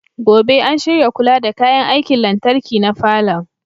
Gobe ​​an shirya kula da kayan aikin lantarki na falon.